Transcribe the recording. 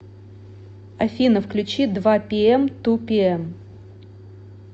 афина включи два пиэм ту пиэм